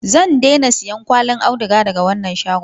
Zan daina siyan kwallin auduga daga wannan shagon.